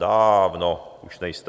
Dááávno už nejste.